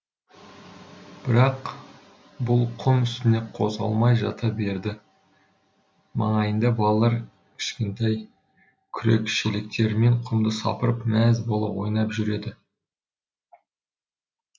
бірақ бұл құм үстінде қозғалмай жата берді маңайында балалар кішкентай күрек шелектерімен құмды сапырып мәз бола ойнап жүреді